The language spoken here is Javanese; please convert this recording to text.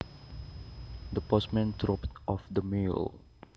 The postman dropped off the mail